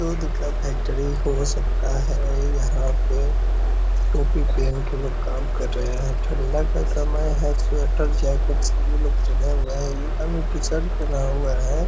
दूध का फैक्ट्री हो सकता है यहाँ पे। टोपी पहन के लोग काम कर रहें हैं। ठंडा का समय है। स्वेटर जैकेट सभी लोग पहने हुए हैं। ई टी-शर्ट पहना हुआ है।